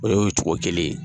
O ye o cogo kelen ye